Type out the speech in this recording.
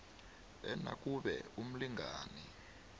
e nakube umlingani